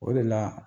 O de la